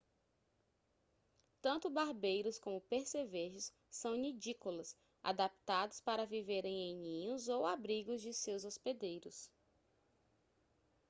tanto barbeiros como percevejos são nidícolas adaptados para viverem em ninhos ou abrigos de seus hospedeiros